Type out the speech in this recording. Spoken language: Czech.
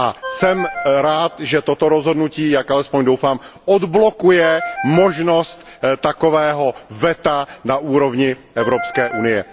Jsem rád, že toto rozhodnutí, jak alespoň doufám, odblokuje možnost takového veta na úrovni Evropské unie.